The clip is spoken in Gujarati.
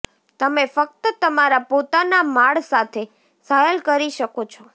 તમે ફક્ત તમારા પોતાના માળ સાથે સહેલ કરી શકો છો